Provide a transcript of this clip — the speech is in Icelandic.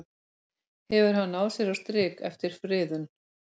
Hefur hann náð sér á strik eftir friðun?